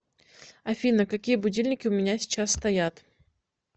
афина какие будильники у меня сейчас стоят